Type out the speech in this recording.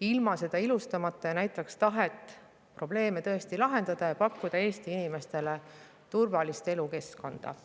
ilma seda ilustamata ja näitaks tahet probleeme tõesti lahendada ja pakkuda Eesti inimestele turvalist elukeskkonda.